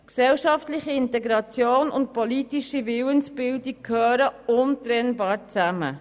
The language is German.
Gesellschaftliche Integration und politische Willensbildung gehören untrennbar zusammen.